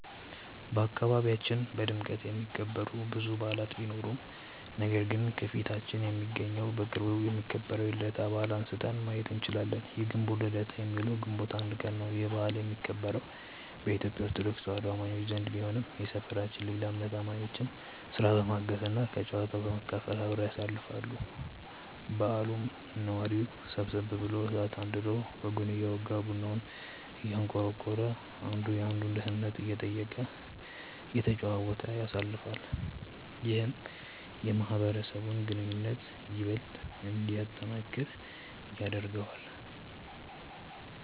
በአካባቢያችን በድምቀት የሚከበሩ ብዙ በዓላት ቢኖሩም ነገር ግን ከፊታችን የሚገኘው በቅርቡ የሚከበረው የልደታ በዓልን አንስተን ማየት እንችላለን። የግንቦት ልደታ የሚውለው ግንቦት 1 ቀን ነው። ይህ በዓል የሚከበረው በኢትዮጲያ ኦርቶዶክስ ተዋህዶ አማኞች ዘንድ ቢሆንም የሰፈራችን ሌላ እምነት አማኞችም ስራ በማገዝ እና ከጨዋታው በመካፈል አብረው ያሳልፋሉ። በዓሉንም ነዋሪው ሰብሰብ ብሎ እሳት አንድዶ ወጉን እያወጋ፤ ቡናውን እያንቆረቆረ፤ አንዱ የአንዱን ደህንነት እየጠየቀ፤ እየተጨዋወተ ያሳልፋል። ይህም የማህበረሰቡን ግንኙነት ይበልጥ እንዲጠነክር ያደርገዋል።